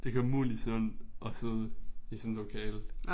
Det kan umuligt sundt at sidde i sådan et lokale